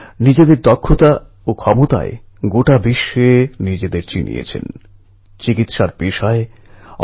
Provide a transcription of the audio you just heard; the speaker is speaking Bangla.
কলেজ মরশুমের কথা যখন উঠলই তখন মধ্যপ্রদেশের ছাত্র আশারাম চৌধুরীর কথা বলতেই হয়